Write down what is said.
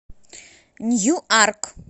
ньюарк